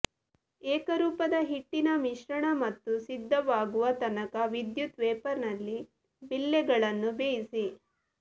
ಏಕರೂಪದ ಹಿಟ್ಟಿನ ಮಿಶ್ರಣ ಮತ್ತು ಸಿದ್ಧವಾಗುವ ತನಕ ವಿದ್ಯುತ್ ವೇಫರ್ನಲ್ಲಿ ಬಿಲ್ಲೆಗಳನ್ನು ಬೇಯಿಸಿ